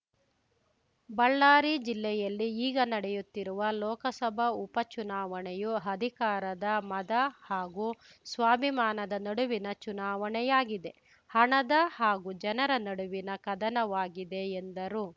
ಬಳ್ಳಾರಿ ಜಿಲ್ಲೆಯಲ್ಲಿ ಈಗ ನಡೆಯುತ್ತಿರುವ ಲೋಕಸಭಾ ಉಪ ಚುನಾವಣೆಯು ಅಧಿಕಾರದ ಮದ ಹಾಗೂ ಸ್ವಾಭಿಮಾನದ ನಡುವಿನ ಚುನಾವಣೆಯಾಗಿದೆ ಹಣದ ಹಾಗೂ ಜನರ ನಡುವಿನ ಕದನವಾಗಿದೆ ಎಂದರು